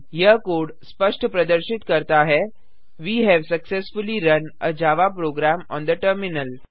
यह कोड स्पष्ट प्रदर्शित करता है we have successfully run a Java program on the terminal